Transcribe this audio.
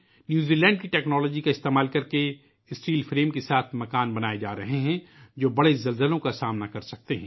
New Zealand کی technology کا استعمال کرتے ہوئے اسٹیل فریم کے ساتھ اگرتلا میں مکانات تعمیر ہورہے ہیں ، جو بڑے زلزلوں کا مقابلہ کرسکتے ہیں